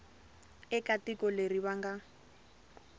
eka tiko leri va nga